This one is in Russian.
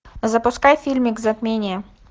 запускай фильмик затмение